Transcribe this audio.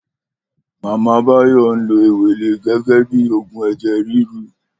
Mama Bayo n ló éwélé gègè bi ógún èjè rirú